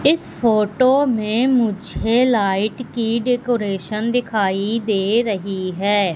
इस फोटो में मुझे लाइट की डेकोरेशन दिखाई दे रही है।